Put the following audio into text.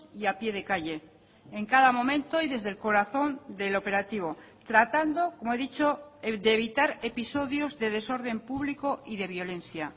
y a pie de calle en cada momento y desde el corazón del operativo tratando como he dicho de evitar episodios de desorden público y de violencia